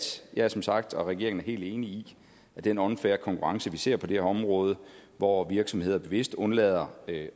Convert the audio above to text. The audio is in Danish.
jeg er som sagt og regeringen er helt enig i at den unfair konkurrence vi ser på det her område hvor virksomheder bevidst undlader at